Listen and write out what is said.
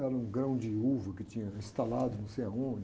Era um grão de uva que tinha instalado não sei aonde.